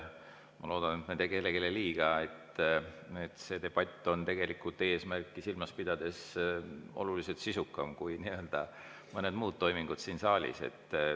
Ma loodan, et ma ei tee kellelegi liiga, öeldes, et see debatt on tegelikult eesmärki silmas pidades oluliselt sisukam kui nii mõnedki muud toimingud siin saalis.